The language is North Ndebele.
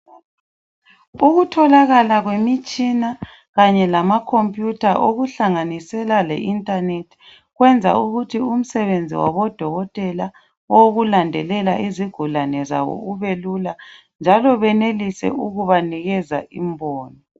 Ukutholakala kwemitshina kanye lamakhompiyuta okuhlanganisela le inthanethi. Kuyenza ukuthi umisebenzi wabodokotela owokulandelela izigulane zabo ubelula. Njalo benelise ukubanikeza imbono.